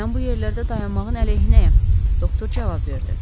Mən bu yerlərdə dayanmağın əleyhinəyəm, doktor cavab verdi.